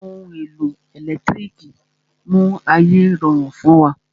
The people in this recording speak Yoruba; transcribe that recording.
Àwọn ohun èlò ẹ̀lẹ́tírìkì mú ayé rọrùn fún wa.